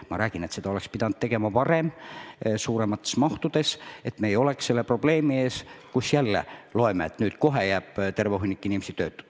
Ma leian, et seda oleks pidanud tegema varem ja suuremas mahus, et me ei oleks jälle selle probleemi ees, millest lehest loeme, et kohe jääb terve hunnik inimesi töötuks.